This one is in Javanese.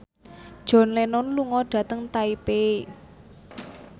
John Lennon lunga dhateng Taipei